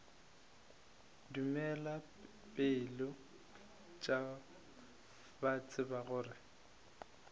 tumelo pele ba tseba gore